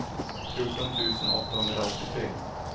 fjorton tusen åttahundraåttiotre